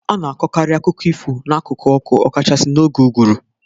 A na-akọkarị akụkọ ifo n'akụkụ ọkụ, ọkachasị n'oge ụgwụru.